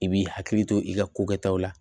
I b'i hakili to i ka kokɛtaw la